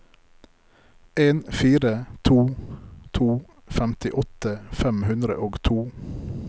en fire to to femtiåtte fem hundre og to